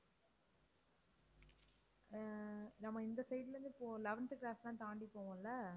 அஹ் நம்ம இந்த side ல இருந்து போ~ eleventh cross எல்லாம் தாண்டிப் போவோம் இல்ல